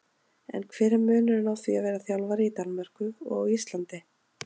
En hver er munurinn á því að vera þjálfari í Danmörku og á Íslandi?